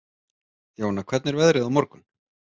Jóna, hvernig er veðrið á morgun?